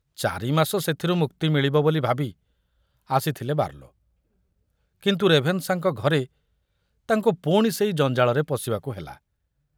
ଚାରିମାସ ସେଥିରୁ ମୁକ୍ତି ମିଳିବ ବୋଲି ଭାବି ଆସିଥିଲେ ବାର୍ଲୋ, କିନ୍ତୁ ରେଭେନ୍‌ଶାଙ୍କ ଘରେ ତାଙ୍କୁ ପୁଣି ସେଇ ଜଞ୍ଜାଳରେ ପଶିବାକୁ ହେଲା।